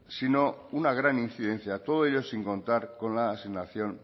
sino una gran incidencia todo ello sin contar con la asignación